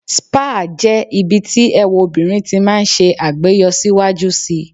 Spa jẹ́ ibi tí ẹwà obìnrin ti máa ń ṣe àgbéyọ síwájú si.